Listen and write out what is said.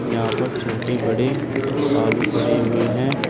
यहां पर छोटे बड़े आलू पड़े हुए हैं।